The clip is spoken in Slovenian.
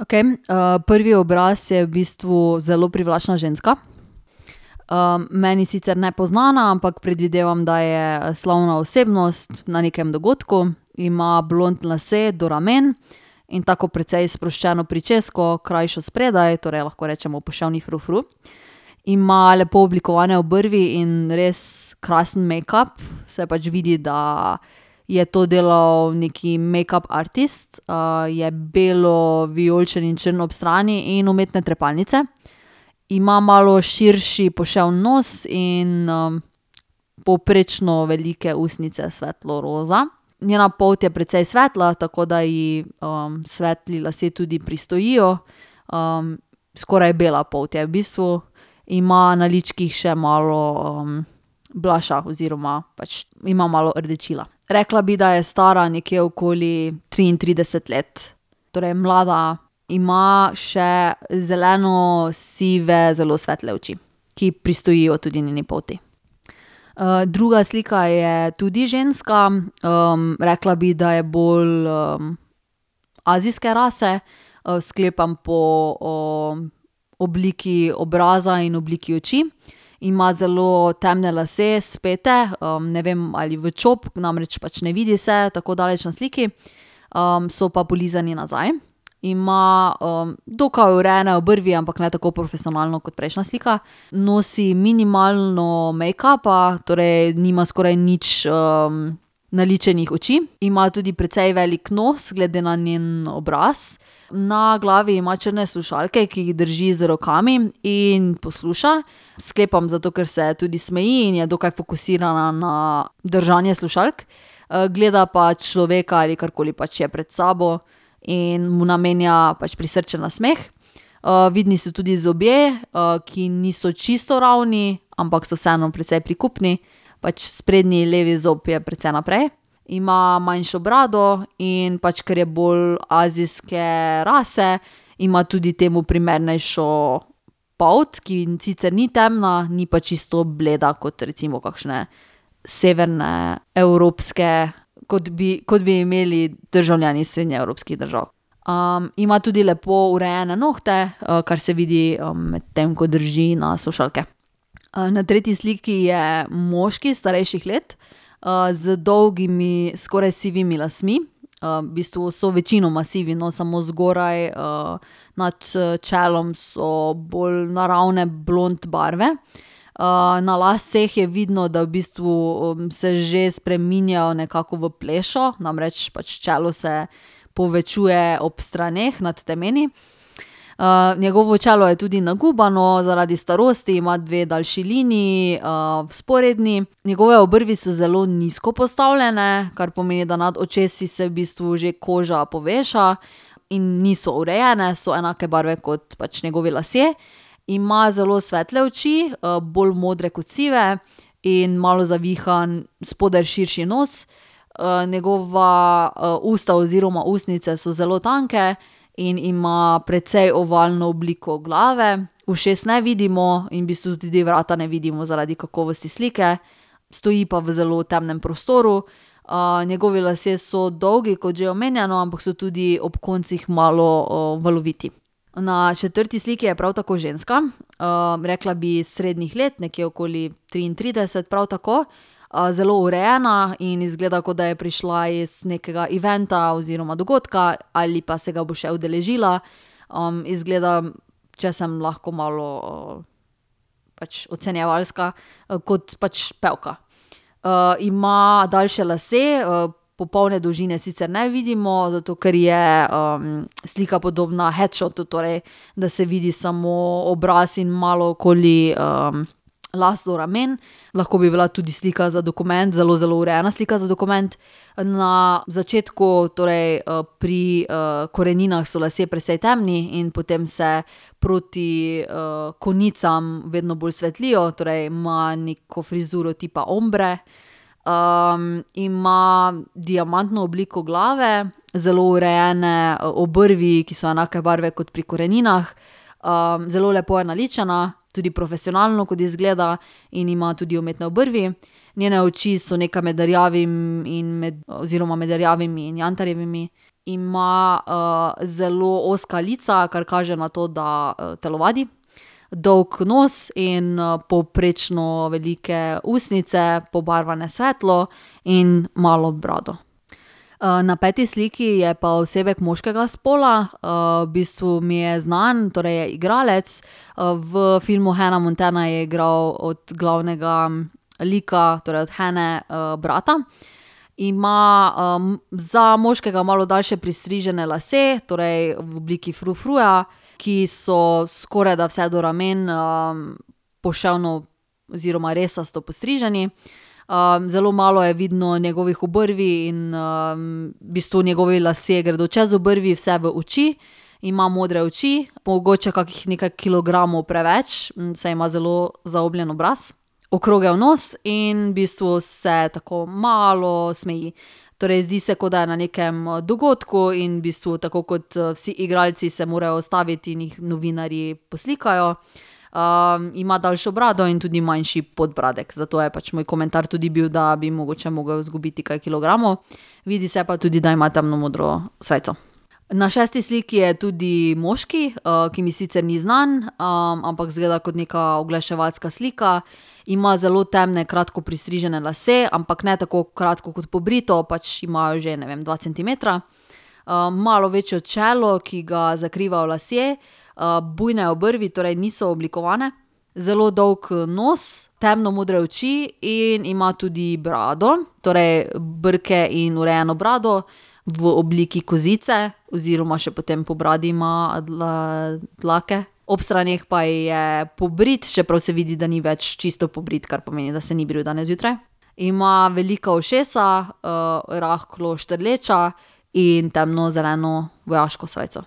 Okej, prvi obraz je v bistvu zelo privlačna ženska, meni sicer nepoznana, ampak predvidevam, da je slavna osebnost na nekem dogodku. Ima blond lase do ramen in tako precej sproščeno pričesko, krajšo spredaj, torej lahko rečemo poševni frufru. Ima lepo oblikovane obrvi in res krasen mejkap. Se pač vidi, da je to delal neki mejkap artist. je belo vijoličen in črn ob strani in umetne trepalnice. Ima malo širši poševen nos in, povprečno velike ustnice, svetlo roza. Njena polt je precej svetla, tako da ji, svetli lasje tudi pristojijo. skoraj bela polt je v bistvu. Ima na ličkih še malo, blusha oziroma pač ima malo rdečila. Rekla bi, da je stara nekje okoli triintrideset let. Torej mlada. Ima še zeleno sive zelo svetle oči, ki pristojijo tudi njeni polti. druga slika je tudi ženska. rekla bi, da je bolj, azijske rase. sklepam po, obliki obraza in obliki oči. Ima zelo temne lase, spete, ne vem, ali v čop. Namreč pač ne vidi se tako daleč na sliki. so pa polizani nazaj. Ima, dokaj urejene obrvi, ampak ne tako profesionalno kot prejšnja slika. Nosi minimalno mejkapa, torej nima skoraj nič, naličenih oči. Ima tudi precej velik nos glede na njen obraz. Na glavi ima črne slušalke, ki jih drži z rokami in posluša. Sklepam zato, ker se tudi smeji in je dokaj fokusirana na držanje slušalk. gleda pa človeka, ali karkoli pač je, pred sabo in mu namenja pač prisrčen nasmeh. vidni so tudi zobje, ki niso čisto ravni, ampak so vseeno precej prikupni. Pač sprednji levi zob je precej naprej. Ima manjšo brado, in pač ker je bolj azijske rase, ima tudi temu primernejšo polt, ki sicer ni temna, ni pa čisto bleda kot recimo kakšne severne evropske, kot bi, kot bi imeli državljani srednjeevropskih držav. ima tudi lepo urejene nohte, kar se vidi, medtem ko drži na slušalke. na tretji sliki je moški starejših let, z dolgimi, skoraj sivimi lasmi. v bistvu so večinoma sivi, no, samo zgoraj, nad, čelom so bolj naravne blond barve. na laseh je vidno, da v bistvu, se že spreminjajo nekako v plešo, namreč pač čelo se povečuje ob straneh nad temeni. njegovo čelo je tudi nagubano zaradi starosti, ima dve daljši liniji, vzporedni. Njegove obrvi so zelo nizko postavljene, kar pomeni, da nad očesi se v bistvu že koža poveša. In niso urejene, so enake barve kot pač njegovi lasje. Ima zelo svetle oči, bolj modre kot sive, in malo zavihan, spodaj širši nos. njegova, usta oziroma ustnice so zelo tanke in ima precej ovalno obliko glave. Ušes ne vidimo in v bistvu tudi vrata ne vidimo zaradi kakovosti slike. Stoji pa v zelo temnem prostoru. njegovi lasje so dolgi, kot že omenjeno, ampak so tudi ob koncih malo, valoviti. Na četrti sliki je prav tako ženska, rekla bi srednjih let, nekje okoli triintrideset, prav tako. zelo urejena in izgleda, kot da je prišla iz nekega eventa oziroma dogodka ali pa se ga bo še udeležila. izgleda, če sem lahko malo, pač ocenjevalska, kot pač pevka. ima daljše lase, popoldne dolžine sicer ne vidimo, zato ker je, slika podoba headshotu, torej da se vidi samo obraz in malo okoli, las do ramen. Lahko bi bila tudi slika za dokument, zelo, zelo urejena slika za dokument. Na začetku, torej, pri, koreninah, so lasje precej temni in potem se proti, konicam vedno bolj svetlijo, torej ima neko frizuro tipa ombre. ima diamantno obliko glave, zelo urejene obrvi, ki so enake barve kot pri koreninah. zelo lepo je naličena, tudi profesionalno, kot izgleda, in ima tudi umetne obrvi. Njene oči so nekaj med rjavim in med, oziroma med rjavimi in jantarjevimi. Ima, zelo ozka lica, kar kaže na to, da, telovadi. Dolg nos in, povprečno velike ustnice, pobarvane svetlo, in malo brado. na peti sliki je pa osebek moškega spola. v bistvu mi je znan, torej je igralec. v filmu Hannah Montana je igral od glavnega lika, torej od Hannah, brata. Ima, za moškega malo daljše pristrižene lase, torej v obliki frufruja, ki so skorajda vse do ramen, poševno oziroma resasto postriženi. zelo malo je vidno njegovih obrvi in, v bistvu njegovi lasje gredo čez obrvi, vse v oči. Ima modre oči, mogoče kakih nekaj kilogramov preveč, saj ima zelo zaobljen obraz, okrogel nos in v bistvu se tako malo smeji. Torej zdi se, kot da je na nekem dogodku, in v bistvu tako kot, vsi igralci se morajo ustaviti in jih novinarji poslikajo. ima daljšo brado in tudi manjši podbradek. Zato je pač moj komentar tudi bil, da bi mogoče mogel zgubiti kaj kilogramov. Vidi se pa tudi, da ima temno modro srajco. Na šesti sliki je tudi moški, ki mi sicer ni znan, ampak izgleda kot neka oglaševalska slika. Ima zelo temne, kratko pristrižene lase, ampak ne tako kratko kot pobrito, pač ima že, ne vem, dva centimetra. malo večje čelo, ki ga zakrivajo lasje, bujne obrvi, torej niso oblikovane, zelo dolg, nos, temno modre oči in ima tudi brado. Torej brke in urejeno brado v obliki kozice oziroma še potem po bradi ima dlake. Ob straneh pa je pobrit, čeprav se vidi, da ni več čisto pobrit, kar pomeni, da se ni bril danes zjutraj. Ima velika ušesa, rahlo štrleča in temno zeleno vojaško srajco.